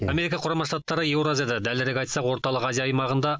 америка құрама штаттары еуразияда дәлірек айтсақ орталық азия аймағында